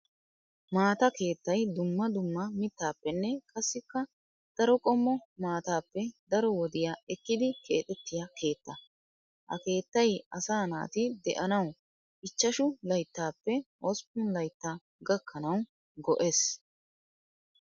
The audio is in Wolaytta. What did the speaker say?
Maata keettay dumma dumma mittappenne qassikka daro qommo maatappe daro wodiya ekkidi keexxetiya keetta. Ha keettay asaa naati de'annawu ichchashshu layttappe hosppun laytta gakkanawu go'ees.